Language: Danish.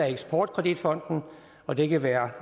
eksport kredit fonden og det kan være